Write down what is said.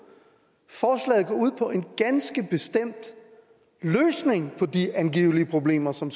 ud på en ganske bestemt løsning på de angivelige problemer som